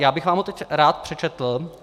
Já bych vám ho teď rád přečetl.